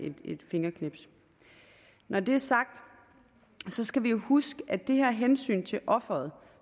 et fingerknips når det er sagt skal vi jo huske at det her med at hensynet til offeret